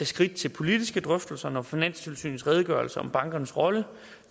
skridt til politiske drøftelser når finanstilsynets redegørelse om bankernes rolle